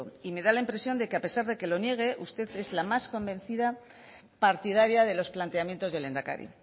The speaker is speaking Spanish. y me da la impresión que a pesar de que lo niegue usted es la más convencida partidaria de los planteamientos del lehendakari